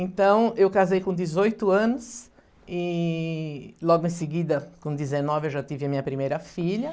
Então, eu casei com dezoito anos e logo em seguida, com dezenove, eu já tive a minha primeira filha.